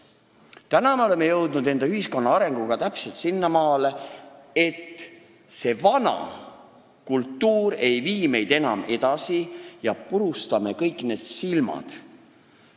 Tänaseks oleme enda ühiskonna arenguga täpselt sinnamaale jõudnud, et vana kultuur meid enam edasi ei vii ja purustame kõik need "silmad"!